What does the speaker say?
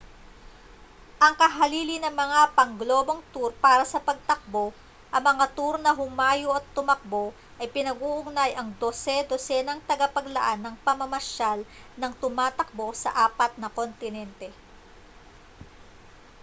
ang kahalili ng mga pangglobong tour para sa pagtakbo ang mga tour na humayo at tumakbo ay pinag-uugnay ang dose-dosenang tagapaglaan ng pamamasyal nang tumatakbo sa apat na kontinente